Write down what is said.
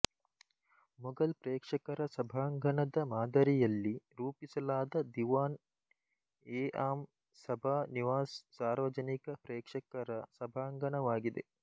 ಮೊಘಲ್ ಪ್ರೇಕ್ಷಕರ ಸಭಾಂಗಣದ ಮಾದರಿಯಲ್ಲಿ ರೂಪಿಸಲಾದ ದಿವಾನ್ಎಆಮ್ ಸಭಾ ನಿವಾಸ್ ಸಾರ್ವಜನಿಕ ಪ್ರೇಕ್ಷಕರ ಸಭಾಂಗಣವಾಗಿದೆ